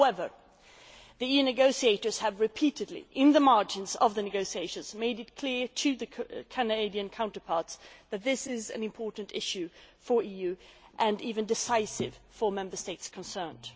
However, the EU negotiators have repeatedly, in the margins of the negotiations, made it clear to their Canadian counterparts that this issue is important for the EU, and decisive for the Member States concerned.